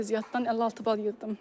Riyaziyyatdan 56 bal yığdım.